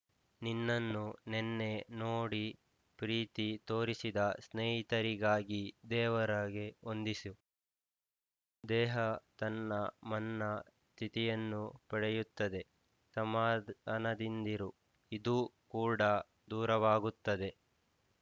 ನಿನ್ನನ್ನು ನೆನ್ನೆ ನೋಡಿ ಪ್ರೀತಿ ತೋರಿಸಿದ ಸ್ನೇಹಿತರಿಗಾಗಿ ದೇವರಾಗೆ ವಂದಿಸು ದೇಹ ತನ್ನ ಮನ್ನಾ ತಿಥಿಯನ್ನು ಪಡೆಯುತ್ತದೆ ಸಮಾಧಾನದಿಂದಿರು ಇದೂ ಕೂಡಾ ದೂರವಾಗುತ್ತದೆ